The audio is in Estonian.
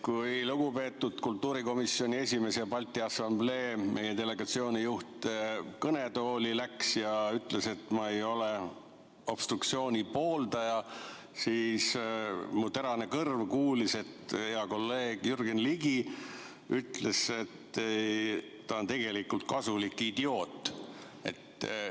Kui lugupeetud kultuurikomisjoni esimees ja Balti Assamblee delegatsiooni juht kõnetooli läks ja ütles, et ta ei ole obstruktsiooni pooldaja, siis mu terane kõrv kuulis, et hea kolleeg Jürgen Ligi ütles, et ta on tegelikult kasulik idioot.